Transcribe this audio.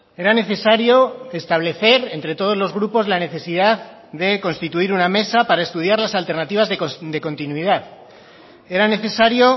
era necesario establecer entre todos los grupos la necesidad de constituir una mesa para estudiar las alternativas de continuidad era necesario